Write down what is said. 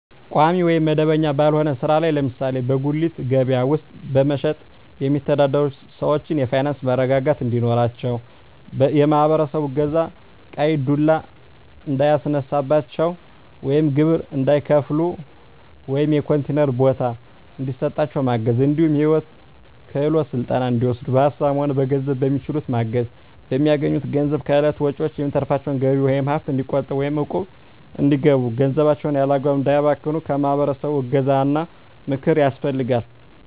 ቋሚ ወይም መደበኛ ባልሆነ ስራ ላይ ለምሳሌ በጉሌት ከበያ ውስጥ በመሸትጥ የሚተዳደሩትን ሰዎች የፋይናንስ መረጋጋት እንዲኖራቸው የማህበረሰቡ እገዛ ቀይ ዱላ እንዳያስነሳቸው ወይም ግብር እንዳይከፍሉ ወይም የኮንቲነር ቦታ እንዲሰጣቸው ማገዝ እንዲሁም የሂወት ክሄሎት ስልጠና እንዲወስዱ በሀሳብም ሆነ በገንዘብ በሚችሉት ማገዝ፣ በሚያገኙት ገንዘብ ከእለት ወጭዎች የሚተርፋቸውን ገቢ ወይም ሀብት እንዲቆጥቡ ወይም እቁብ እንዲገቡ ገንዘባቸውን ያላግባብ እንዳያባክኑ የማህበረሰቡ እገዛ ወይም ምክር ያስፈልጋል።